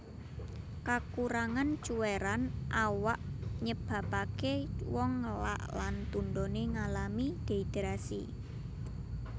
Kakurangan cuwèran awak nyebabaké wong ngelak lan tundoné ngalami dehidrasi